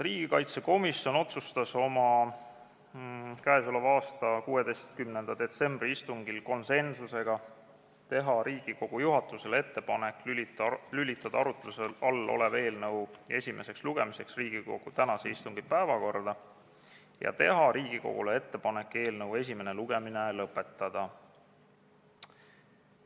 Riigikaitsekomisjon otsustas oma k.a 16. septembri istungil konsensusega teha Riigikogu juhatusele ettepaneku lülitada arutluse all olev eelnõu esimeseks lugemiseks Riigikogu tänase istungi päevakorda ja esimene lugemine lõpetada.